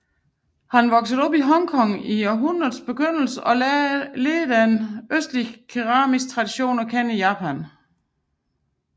Han var vokset op i Hong Kong i århundredets begyndelse og lærte den østlige keramiske tradition at kende i Japan